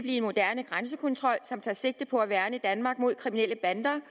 en moderne grænsekontrol som tager sigte på at værne danmark mod kriminelle bander